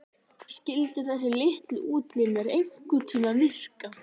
Skyldu þessir litlu útlimir einhverntíma virka?